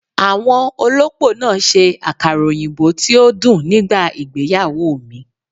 Àwọn olópò náà ṣe àkàrà òyìnbó tí ó dùn nígbà ìgbéyàwó mi